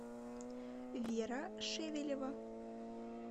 вера шевелева